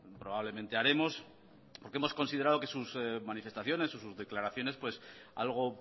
probablemente haremos porque hemos considerado que sus manifestaciones o sus declaraciones de algo